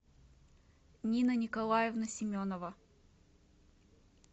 нина николаевна семенова